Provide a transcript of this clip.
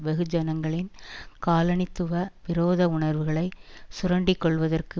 வெகுஜனங்களின் காலனித்துவ விரோத உணர்வுகளை சுரண்டிக்கொள்வதற்கு